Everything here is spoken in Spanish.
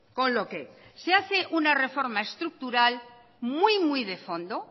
con lo que se hace una reforma estructural muy muy de fondo